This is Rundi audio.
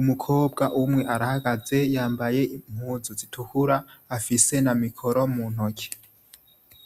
umukobwa umwe arahagaze yambaye zitukura, afise na mikoro muntoki.